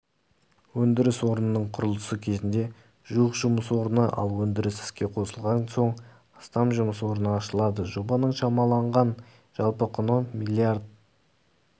өндіріс орнының құрылысы кезінде жуық жұмыс орны ал өндіріс іске қосылған соң астам жұмыс орны ашылады жобаның шамаланған жалпы құны млрд